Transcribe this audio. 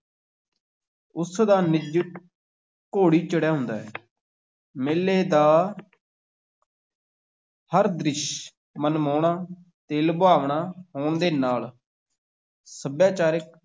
ਉਸ ਦਾ ਨਿੱਜ ਘੋੜੀ ਚੜਿਆ ਹੁੰਦਾ ਹੈ ਮੇਲੇ ਦਾ ਹਰ ਦ੍ਰਿਸ਼ ਮਨਮੋਹਣਾ ਤੇ ਲੁਭਾਵਣਾ ਹੋਣ ਦੇ ਨਾਲ ਸੱਭਿਆਚਾਰਿਕ